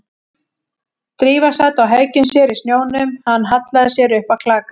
Drífa sat á hækjum sér í snjónum, hann hallaði sér upp að klaka